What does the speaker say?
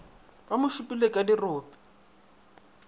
ba mo šupile ka dirope